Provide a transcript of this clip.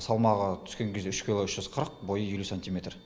салмағы түскен кезде үш кило үш жүз қырық бойы елу сантиметр